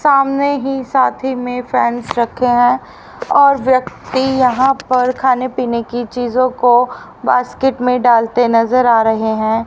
सामने ही साथी में फैन्स रखे हैं और व्यक्ति यहां पर खाने पीने की चीजों को बास्केट में डालते नजर आ रहे हैं।